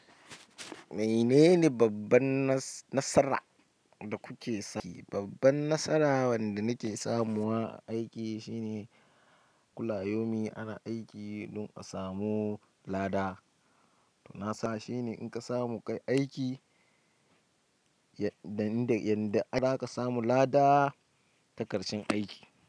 Mene ne babbar nasara da kuka samu? Babban nasara wanda nake samu a aiki shine kulayomi ana aiki don a samu lada. Na sa shine in ka samu kai aiki, yanda, za ka samu lada ta ƙarshen aiki.